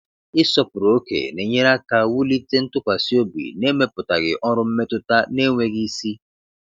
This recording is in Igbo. Ịsọpụrụ ókè na-enyere aka wulite ntụkwasị obi na-emepụtaghị ọrụ mmetụta na-enweghị isi.